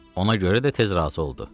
Ona görə də tez razı oldu.